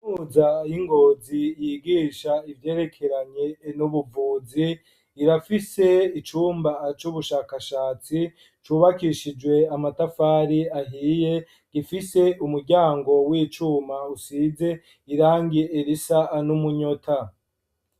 Muza ingozi yigisha ivyerekeranye nubuvuzi irafise icumba aco ubushakashatsi cubakishijwe amatafari ahiye gifise umuryango w'icuma usize irangiye elisa an'umunyota.